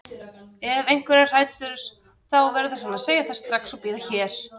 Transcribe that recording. Ef einhver er hræddur þá verður hann að segja það strax og bíða hér.